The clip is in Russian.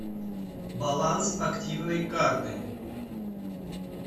баланс активной карты